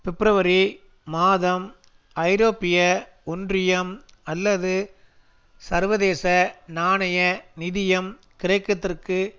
பிப்ரவரி மாதம் ஐரோப்பிய ஒன்றியம் அல்லது சர்வதேச நாணய நிதியம் கிரேக்கத்திற்கு